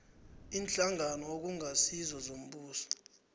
iinhlangano okungasizo zombuso